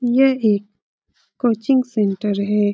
यह एक coaching centre है।